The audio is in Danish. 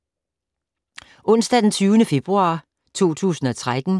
Onsdag d. 20. februar 2013